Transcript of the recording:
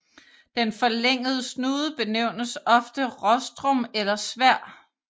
Den forlængede snude benævnes ofte rostrum eller sværd